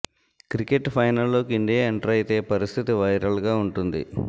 cricket final లోకి India enter అయితే పరిస్థితి వైరల్ గా వుంటుంది